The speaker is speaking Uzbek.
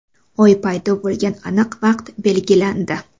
Oy paydo bo‘lgan aniq vaqt belgilandi.